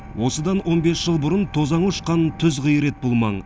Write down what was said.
осыдан он бес жыл бұрын тозаңы ұшқан түз қиыр еді бұл маң